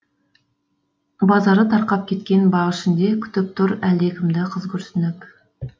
базары тарқап кеткен бақ ішінде күтіп тұр әлдекімді қыз күрсініп